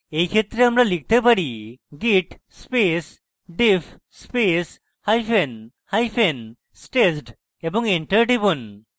in ক্ষেত্রে আমরা লিখতে পারি: git space diff space hyphen hyphen staged এবং enter টিপুন